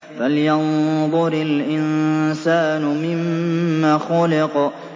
فَلْيَنظُرِ الْإِنسَانُ مِمَّ خُلِقَ